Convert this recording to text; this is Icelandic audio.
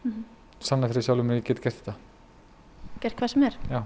sanna fyrir sjálfri mér að ég get gert þetta gert hvað sem er já